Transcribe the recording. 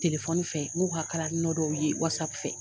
Telefɔni fɛ n'u ka kalalinɔ dɔw ye wasapu fɛ